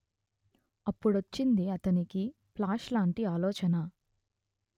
అప్పుడొచ్చింది అతనికి ప్లాష్ లాంటి ఆలోచన